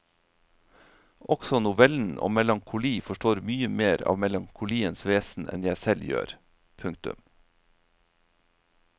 Også novellen om melankoli forstår mye mer av melankoliens vesen enn jeg selv gjør. punktum